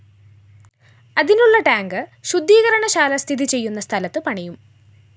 അതിനുള്ള ടാങ്ക്‌ ശുദ്ധീകരണശാല സ്ഥിതി ചെയ്യുന്ന സ്ഥലത്തു പണിയും